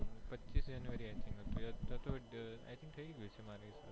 પચીસ જાન્યુઆરી એ i think થઇ ગયું હશે મારા હિસાબ થી